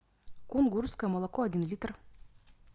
кунгурское молоко один литр